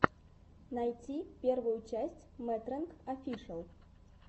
найти первую часть мэтрэнг офишэл